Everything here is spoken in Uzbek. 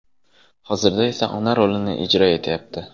Hozirda esa ona rolini ijro etyapti.